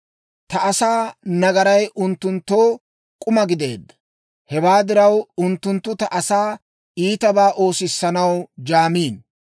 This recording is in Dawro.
Ta asaa nagaray unttunttoo k'uma gideedda; hewaa diraw, unttunttu ta asaa iitabaa oosissanaw jaamiino.